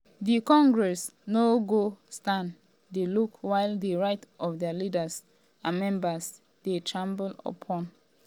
"di congress no go stand dey look while di rights of dia leaders and members dey trampled upon."